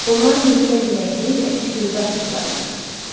Onlar möhkəm biləkli və iti gözlü atıcılar idi.